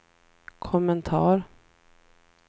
kommentar